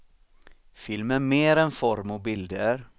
Film är mer än form och bilder.